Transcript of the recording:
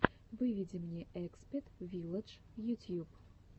выведи мне экспет вилладж ютьюб